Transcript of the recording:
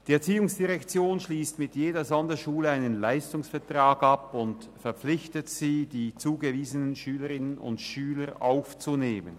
Die ERZ schliesst mit jeder Sonderschule einen Leistungsvertrag ab und verpflichtet sie, die zugewiesenen Schülerinnen und Schüler aufzunehmen.